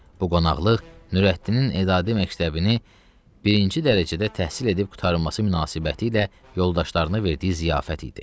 Bu qonaqlıq Nurəddinin edadi məktəbini birinci dərəcədə təhsil edib qurtarılması münasibətilə yoldaşlarına verdiyi ziyafət idi.